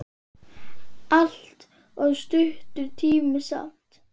Allt of stuttur tími samt.